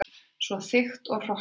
Svo þykkt og hrokkið.